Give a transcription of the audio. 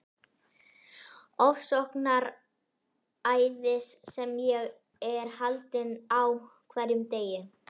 Ofsóknaræðis sem ég er haldinn á hverjum degi.